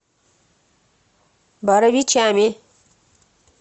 боровичами